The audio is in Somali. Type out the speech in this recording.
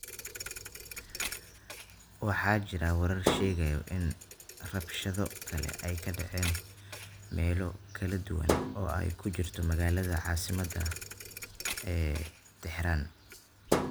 Waxaa jira warar sheegaya in rabshado kale ay ka dhaceen meelo kala duwan oo ay ku jirto magaalada caasimadda ah ee Tehran.